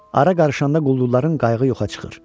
Ara qarışanda quldurların qayığı yoxa çıxır.